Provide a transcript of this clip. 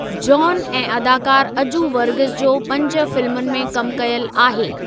John ऐं अदाकारु अजू वर्गीस जो पंज फिल्मुनि में कम कयलु आहे।